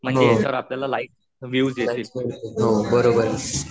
म्हणजे याच्यावर आपल्याला लाईक्स विव्हस येतील